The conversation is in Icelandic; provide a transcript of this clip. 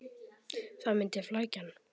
Það myndi flækja hann.